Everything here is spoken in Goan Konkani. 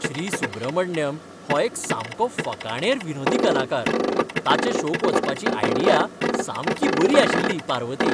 श्री. सुब्रमण्यम हो एक सामको फकाणेर विनोदी कलाकार. ताच्या शो क वचपाची आयडिया सामकी बरी आशिल्ली, पार्वती.